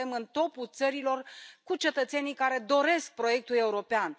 Suntem în topul țărilor cu cetățenii care doresc proiectul european.